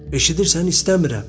Eşidirsən, istəmirəm!